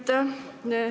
Aitäh!